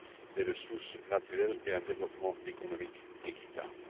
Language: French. des ressources naturelles et un développement économique équitable.